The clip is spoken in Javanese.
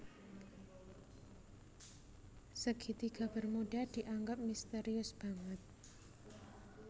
Segitiga bermuda dianggep misterius banget